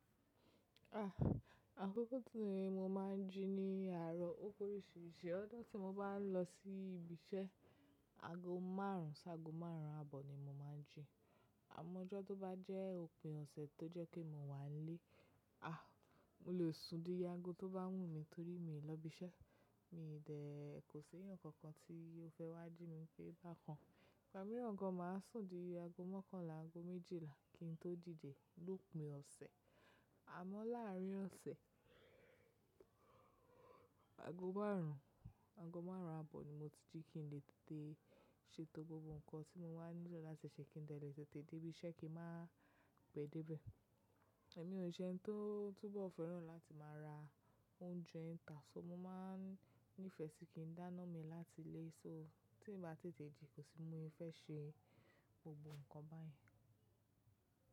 Àkókó tí mo máa ń jí ní àárọ̀ ó pe oríṣiríṣi. Ọ̀jọ́ tí mo bá ń lọ sí ibi iṣẹ́ aago márùn sí aago márùn àbọ̀ ni mo máa ń jí. Àmọ́ ọjọ́ tó bá jẹ́ òpin ọ̀sẹ̀ tó jẹ́ kí mo wà nílé, mo lè sùn díyé aago tó bá wù mi torí mi ò lọ ibi iṣẹ́. Mi dẹ̀ kò sí nǹkan kan tí ó fẹ́ wá jí mi pé bá kan. Igbamiran gán máa sùn díyé aago mọ́kànlá aago méjìlá kí n tó díde, lópin ọ̀sẹ̀. Àmọ́ láàárín ọ̀sẹ̀, aago márùn ún aago márùn ún àbọ̀ ni mo ti jí kí n lè tètè ṣe tó gbogbo nǹkan tí mo wá nílò látẹ̀ṣẹ́ kí n lè tètè dé ibi iṣẹ́ kí n má pẹ́ déébẹ̀. Ẹ̀mí ò ní iṣẹ́ tó túbọ̀ fẹ́ràn láti máa ra oúnjẹ tàá, mo máa ń nífẹ̀ẹ́ sí kí n dáná mi láti ilé, tí mo bá tètè ji, kò sí bi mo se fe ṣe gbogbo nǹkan báyìí.